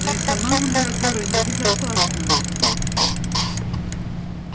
но и сама мандрагора небезопасна